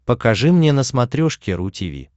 покажи мне на смотрешке ру ти ви